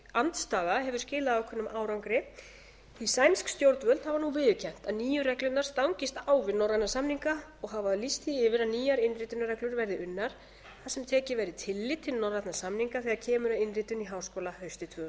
andstaða hefur skilað ákveðnum árangri því sænsk stjórnvöld hafa nú viðurkennt að nýju reglurnar stangist á við norræna samninga og hafa lýst því yfir að nýjar innritunarreglur verði unnar þar sem tekið verði tillit til norrænna samninga þegar kemur að innritun í háskóla haustið tvö þúsund og